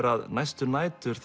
að næstu nætur